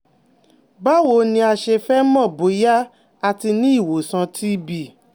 Báwo ni a ṣe fẹ́ mọ̀ bóyá ati ni iwosan TB?